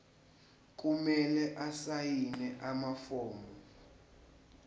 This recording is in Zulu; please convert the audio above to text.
kumele asayine amafomu